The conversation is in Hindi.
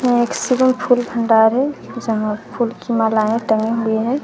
यहां फूल भंडार है यहां फूल की मालाएं टंगी हुई हैं।